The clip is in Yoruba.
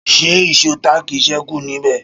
Ṣé ìsó táákì ṣékù níbẹ̀?